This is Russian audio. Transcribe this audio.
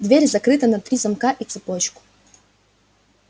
дверь закрыта на три замка и цепочку